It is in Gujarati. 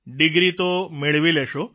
ડીગ્રી તો મેળવી લેશો